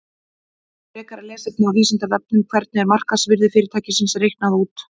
Frekara lesefni á Vísindavefnum: Hvernig er markaðsvirði fyrirtækis reiknað út?